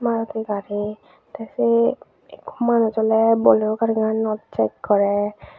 maruti gari tey sei manuj oley bolero gariganot check gorer.